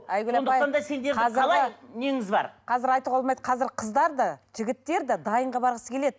айгүл апай қазір айтуға болмайды қазір қыздар да жігіттер де дайынға барғысы келеді